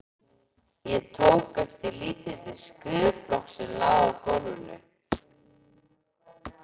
Ég tók eftir lítilli skrifblokk sem lá í gólfinu.